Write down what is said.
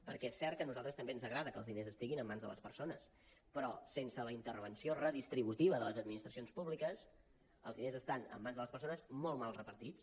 perquè és cert que a nosaltres també ens agrada que els diners estiguin en mans de les persones però sense la intervenció redistributiva de les administracions públiques els diners estan en mans de les persones molt mal repartits